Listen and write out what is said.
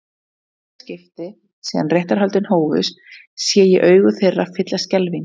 Í fyrsta skipti síðan réttarhöldin hófust sé ég augu þeirra fyllast skelfingu.